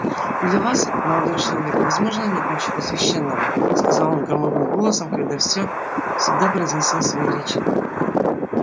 для вас молодой человек возможно нет ничего священного сказал он громовым голосом когда всё всегда произносил свои речи